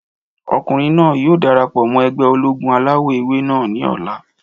Ọkùnrin náà yóò darapọ̀ mọ́ ẹgbẹ́ ológun alawọ̀-ewé náà ní ọ̀la